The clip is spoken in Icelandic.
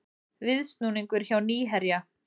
Viðsnúningur hjá Nýherja